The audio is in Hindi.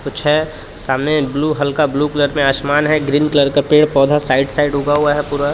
कुछ है सामने ब्लू हल्का ब्लू कलर में आसमान है ग्रीन कलर का पेड़ पौधा साइड साइड उगा हुआ है पूरा।